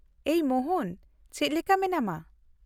-ᱮᱭ ᱢᱳᱦᱚᱱ, ᱪᱮᱫ ᱞᱮᱠᱟ ᱢᱮᱱᱟᱢᱟ ?